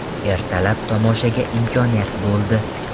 Ertalab tomoshaga imkoniyat bo‘ldi.